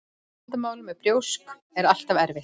Vandamál með brjósk er alltaf erfitt.